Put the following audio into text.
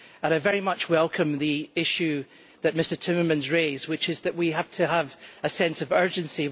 I very much welcome the point that Mr Timmermans raised, which is that we have to have a sense of urgency.